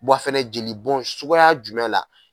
a fɛnɛ jeli bɔn suguya jumɛn la.